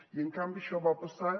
i en canvi això va passar